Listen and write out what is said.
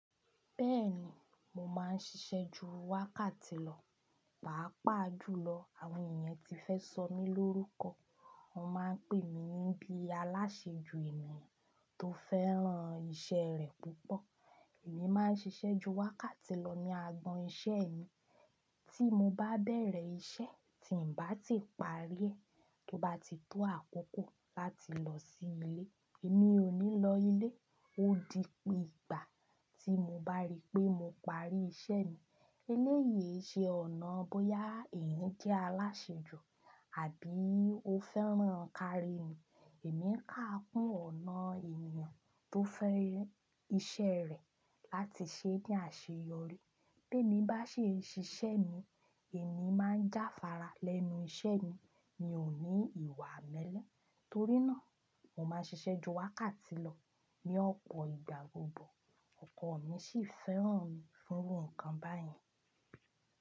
Bẹ́ẹ̀ni, mo máa ń ṣiṣẹ́ ju wákàtí lọ, pàápàá jùlọ àwọn ènìyàn tí fẹ́ sọ mí lórúkọ. Wọn máa ń pè mí ní bí alásèjù ènìyàn tó fẹ́ràn iṣẹ́ rẹ̀ púpọ̀. Èmi máa ń ṣiṣẹ́ ju wákàtí lọ ní agbọn iṣẹ́ mi. Tí mo bá bẹ̀rẹ̀ iṣẹ́ tí ń bá ti parí ẹ, tó bá ti tó àkókò láti lọ sí ilé, èmi ò ní lọ ilé, ó di pé ìgbà tí mo bá rí pé mo parí iṣẹ́ mi. Eléyìí ṣe ọ̀nà bóyá ènìyàn jẹ́ alásèjù àbí ó fẹ́ràn nǹkan rẹ̀ mìíràn. Ẹ̀mí ń kà kún ọ̀nà ènìyàn tó fẹ́ iṣẹ́ rẹ̀ láti ṣe ní àṣeyọrí. Bí emi bá ṣi n ṣiṣẹ́ mi, èmi máa ń jáfára lẹ́nu iṣẹ́ mi, mi ò ní ìwà mẹ́lẹ̀. Torí náà, mo máa ń ṣiṣẹ́ ju wákàtí lọ. Ni ọ̀pọ̀ ìgbá gbogbo, ọkọ mi sì fẹ́ràn fún nǹkan báyìí.